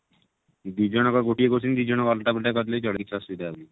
ଦି ଜଣକ ଗୋଟିଏ question ଦି ଜଣ ଙ୍କୁ ଅଲଗା ଅଲଗା କରିଦେଲେ ବି ଚଳିବ କିଛି ଅସୁବିଧା ନାହିଁ